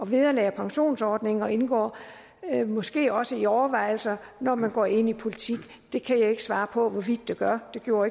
vederlag og pensionsordninger indgår måske også i overvejelserne når man går ind i politik det kan jeg ikke svare på hvorvidt de gør det gjorde